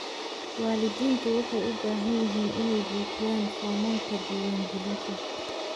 Waalidiintu waxay u baahan yihiin inay buuxiyaan foomamka diiwaangelinta.